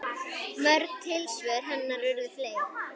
Mörg tilsvör hennar urðu fleyg.